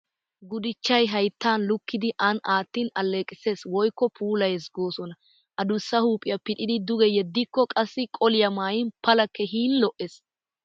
Gudichchay hayittan likkidi an aattin alleqisses woyikko puulayees goosona. Adussa Huuphiya pixidi duge yeddikko qassikka qoliyaa mayin pala keehin lo'ees.